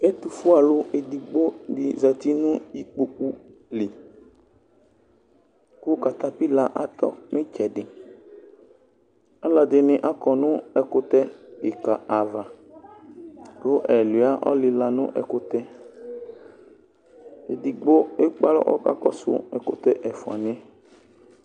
ɛtufue'alu edigbo di zati nʋ ikpoku liku katapila atɔ nʋ itsɛdialu ɛdini akɔ nʋ ɛkʋtɛ kika'avaku ɛluia ɔlila nʋ ɛkutɛ yɛedigbo ekpe alɔ kʋ akakɔsʋ ɛfua ni yɛ